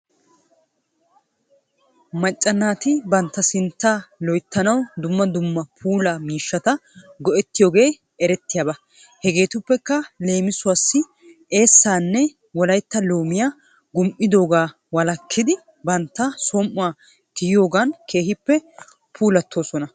Macca naati bantta sintta loyttanaw dumma dumma puula miishshata go'etiyoogee erettiyaaba. Hegeetuppekka leemisuwaassi eessaanne Wolaytta loomiyaa gum'idoogaa wolakkidi bantta som"uwan tiyiyoogan keehippe puulattoosona.